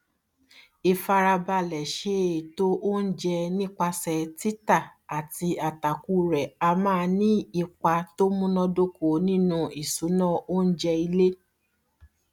fifarabalẹ ṣe ètò oúnjẹ nípasẹ títà àti àtàkù rẹ a máa ní ipa tó múnádóko nínu ìṣùnà oúnjẹ ilé